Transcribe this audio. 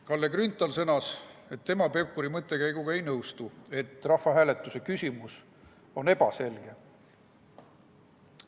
Kalle Grünthal sõnas, et tema ei nõustu Pevkuri mõttekäiguga, et rahvahääletuse küsimus on ebaselge.